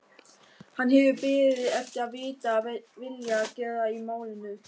Hann hefur beðið eftir að vita vilja Gerðar í málinu.